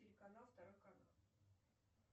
телеканал второй канал